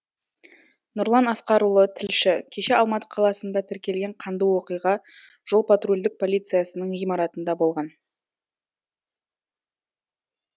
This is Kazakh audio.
нұрлан асқарұлы тілші кеше алматы қаласында тіркелген қанды оқиға жол патрульдік полициясының ғимаратында болған